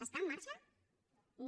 està en marxa no